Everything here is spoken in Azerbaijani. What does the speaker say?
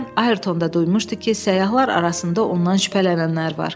Deyəsən Ayrton da duymuşdu ki, səyyahlar arasında ondan şübhələnənlər var.